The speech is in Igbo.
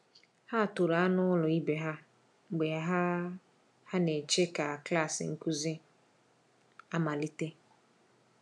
Ha toro anụ ụlọ ibe ha mgbe ha ha na-eche ka klas nkuzi amalite.